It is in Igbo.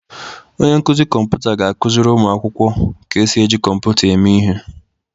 Onye nkuzi kọmputa ga-akụziri ụmụ akwụkwọ ka esi eji kọmputa eme ihe.